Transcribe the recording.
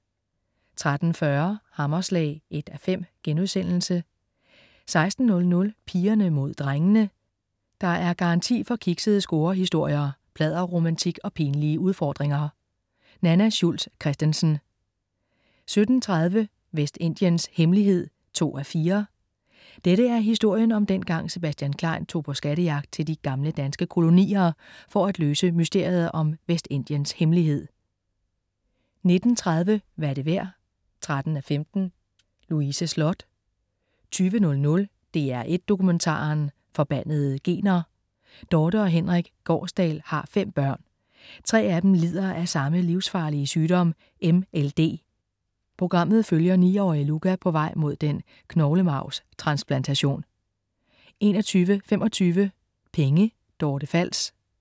13.40 Hammerslag 1:15* 16.00 Pigerne mod drengene. Der er garanti for kiksede scorehistorier, pladderromantik og pinlige udfordringer. Nanna Schultz Christensen 17.30 Vestindiens hemmelighed 2:4. Dette er historien om dengang Sebastian Klein tog på skattejagt til de gamle danske kolonier for at løse mysteriet om Vestindiens hemmelighed 19.30 Hvad er det værd? 13:15 . Louise Sloth 20.00 DR1 Dokumentaren. Forbandede gener. Dorthe og Henrik Gaarsdal har fem børn. Tre af dem lider af samme livsfarlige sygdom, MLD. Programmet følger niårige Luca på vej mod den knoglemarvstransplantation 21.25 Penge. Dorte Fals